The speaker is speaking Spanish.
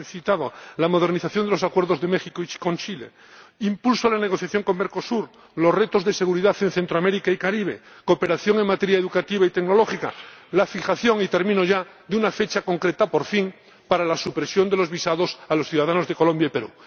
Ya se han citado la modernización de los acuerdos con México y con Chile, el impulso a la negociación con Mercosur, los retos de seguridad en Centroamérica y el Caribe, la cooperación en materia educativa y tecnológica, y la fijación —y termino ya— de una fecha concreta, por fin, para la supresión de los visados a los ciudadanos de Colombia y Perú.